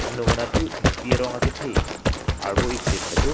anung anathu thengpi arong akethe arvo ik sip tado.